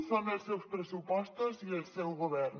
són els seus pressupostos i el seu govern